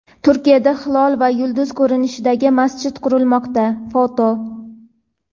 Turkiyada hilol va yulduz ko‘rinishida masjid qurilmoqda (foto).